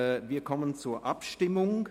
Wir kommen zur Abstimmung.